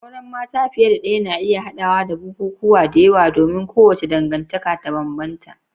Auren mata fiye da ɗaya na iya haɗawa da bukukuwa da yawa domin kowace dangantaka ta bambanta.